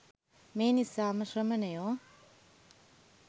මේ නිසාම ශ්‍රමණයෝ